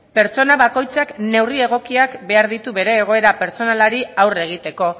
pertsona bakoitzak neurri egokiak behar ditu bere egoera pertsonalari aurre egiteko